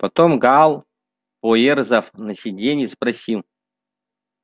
потом гаал поёрзав на сидении спросил